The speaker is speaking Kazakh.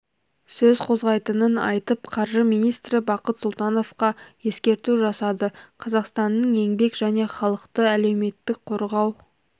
сөз қозғайтынын айтып қаржы министрі бақыт сұлтановқа ескерту жасады қазақстанның еңбек және халықты әлеуметтік қорғау